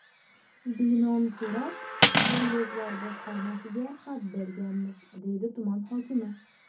Binoni so‘rab, kollejlar boshqarmasiga xat berganmiz, deydi tuman hokimi.